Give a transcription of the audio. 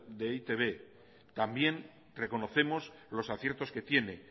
de e i te be también reconocemos los aciertos que tiene